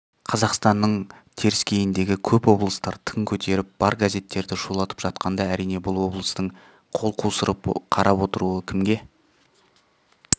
қазақстанның теріскейіндегі көп облыстар тың көтеріп бар газеттерді шулатып жатқанда әрине бұл облыстың қол қусырып қарап отыруы кімге